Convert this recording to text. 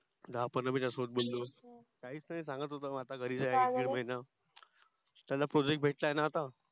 दहा पंधरा मिनिट त्याच्या सोबत बोललो काहीच आता सांगत होत आता घरीच त्याला Project भेटला आहे न आता.